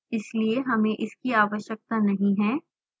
इसलिए हमें इसकी आवश्यकता नहीं है